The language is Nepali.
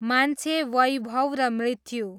मान्छे वैभव र मृत्यु